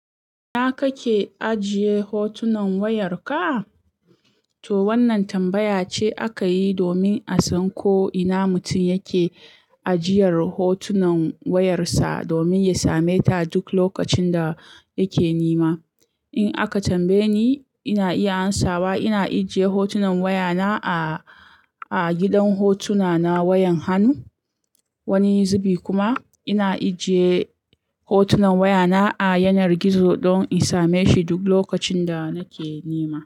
Ina kake ajiye hotunan wayarka? To wannan tambaya ce aka yi domin a san ko ina mutum yake ajiyar hotunan wayarsa domin ya same ta duk lokacin da yake nema. In aka tambaye ni, ina iya amsawa. Ina ajiye hotunan wayana a, a gidan hotuna na wayan hannu. Wani zubi kuma ina ajiye hotunan wayana a yanar gizo don in same shi duk lokacin da nake nema.